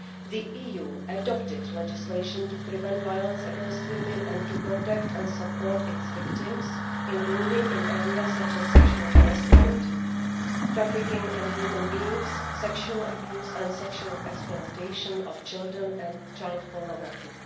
The EU adopted legislation to prevent violence against women and to protect and support its victims, including in areas such as sexual harassment, trafficking in human beings, sexual abuse and sexual exploitation of children and child pornography.